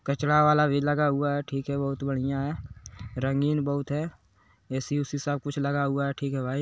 कचरा वाला भी लगा हुआ है ठीक है बहोत बढ़िया है रंगीन बहोत है ऐ_सी उसी सब कुछ लगा हुआ है ठीक है भाई।